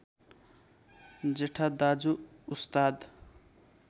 जेठा दाजु उस्ताद